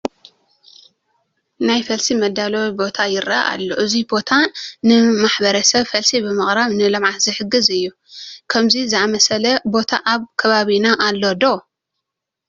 ናይ ፈልሲ መዳለዊ ቦታ ይርአ ኣሎ፡፡ እዚ ቦታ ንማሕረሰብ ፈልሲ ብምቕራብ ንልምዓት ዝሕግዝ እዩ፡፡ ከምዚ ዝኣምሰለ ቦታ ኣብ ከባቢና ኣሎ ዶ?